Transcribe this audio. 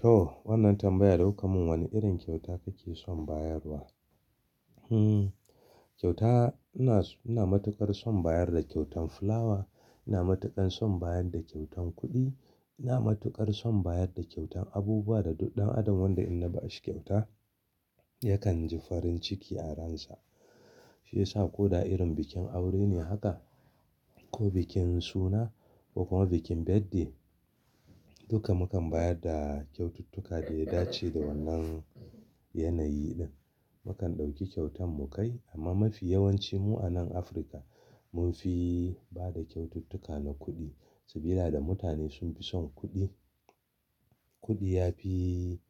To wannan tambaya da kuka mun wanne irin kyauta kake son bayarwa? Hmm, kyauta ina, ina matuƙar son bayar da kyautan fulawa, ina matuƙan son bayar da kyautan kuɗi, ina matuƙar son bayar da kyautan abubuwa da duk ɗan adam wanda in na ba shi kyauta yakan ji farin ciki a ransa. Shi yasa ko da irin bikin aure ne haka ko bikin suna ko kuma bikin birthday duka mukan bayar da kyaututtuka da ya dace da wannan yanayi din. Mukan ɗauki kyautan mu kai amma mafi yawancin mu a nan Afirka mun fi ba da kyaututtuka na kuɗi saboda da mutane sun fi son kuɗi. Kuɗi ya fi,